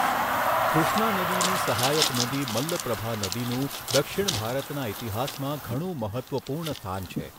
કૃષ્ણા નદીની સહાયક નદી મલ્લપ્રભા નદીનું દક્ષિણ ભારતના ઈતિહાસમાં ઘણું મહત્ત્વપૂર્ણ સ્થાન છે.